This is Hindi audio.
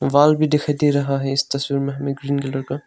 वाल भी दिखाई दे रहा है इस तस्वीर में हमें ग्रीन कलर का।